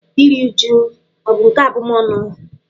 Iri újú ọ̀ bụ nke abụmọnụ?